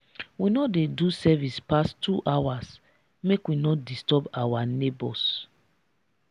we no dey do service pass two hours make we no disturb our nebors.